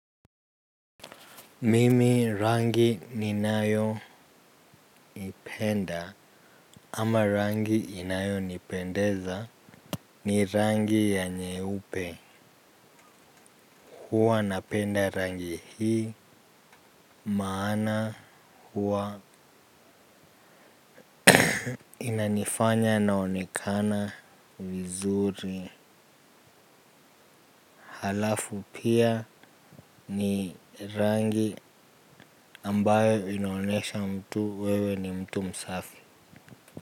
Mimi rangi ni nayo ipenda ama rangi inayo nipendeza ni rangi ya nyeupe huwa napenda rangi hii maana huwa inanifanya naonekana vizuri halafu pia ni rangi ambayo inaonesha mtu wewe ni mtu msafi.